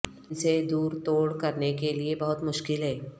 ان سے دور توڑ کرنے کے لئے بہت مشکل ہے